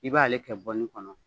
I b'a ale kɛ kɔnɔ